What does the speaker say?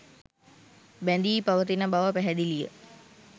බැඳී පවතින බව පැහැදිලිය